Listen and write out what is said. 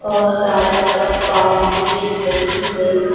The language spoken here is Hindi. और चारों तरफ बाउंड्री दिख रही हैं।